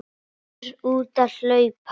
Fer út að hlaupa.